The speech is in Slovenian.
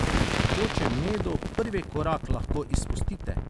Pri tekočem medu prvi korak lahko izpustite.